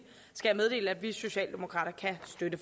skal jeg meddele at vi socialdemokrater kan støtte